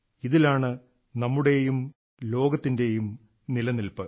ഇതിലാണ് നമ്മുടെയും ലോകത്തിന്റെയും നിലനിൽപ്പ്